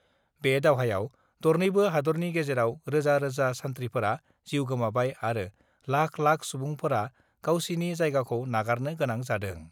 बे दावहायाव दरनैबो हादरनि गेजेराव रोजा-रोजा सान्थ्रिफोरा जिउ गोमाबाय आरो लाख लाख सुबुंफोरा जायगाखौ नागारनो गोनां जादों।